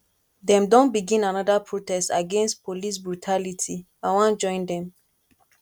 dem don begin anoda protest against police brutality i wan join dem